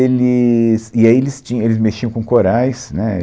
Eles, e aí eles tinham, eles mexiam com corais, né.